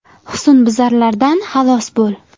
Husnbuzarlardan xalos bo‘l.